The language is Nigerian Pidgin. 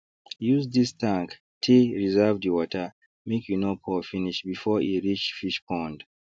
use this tank tey reserve the water make e no pour finish before e reach fish pond